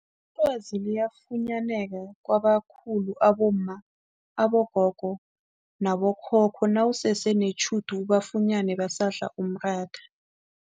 Ilwazi liyafunyaneka kwabakhulu abomma, abogogo nabo khokho nawusese netjhudu ubafunyene badla umratha.